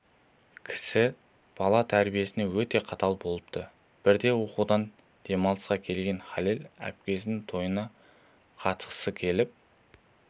кісі бала тәрбиесіне өте қатал болыпты бірде оқудан демалысқа келген халел әпкесінің тойына қатысқысы келіп